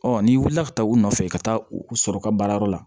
n'i wulila ka taa u nɔfɛ i ka taa u sɔrɔ u ka baarayɔrɔ la